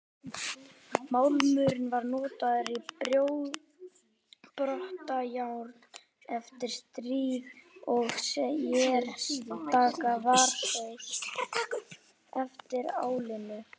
Málmurinn var notaður í brotajárn eftir stríð og sérstaklega var sóst eftir álinu.